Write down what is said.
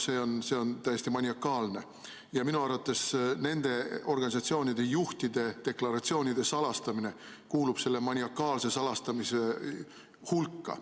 See on täiesti maniakaalne ja minu arvates nende organisatsioonide juhtide deklaratsioonide salastamine kuulub selle maniakaalse salastamise hulka.